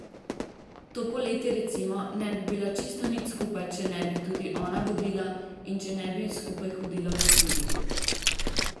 To poletje recimo ne bi bila čisto nič skupaj, če ne bi tudi ona vodila in če ne bi skupaj hodila po hribih.